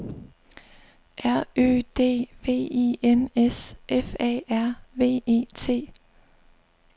R Ø D V I N S F A R V E T